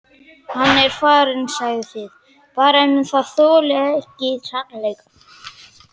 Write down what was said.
Hann er farinn segið þið bara en þolið ekki sannleikann.